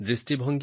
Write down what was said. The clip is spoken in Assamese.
অডিঅ